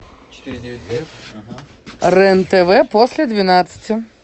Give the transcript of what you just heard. рен тв после двенадцати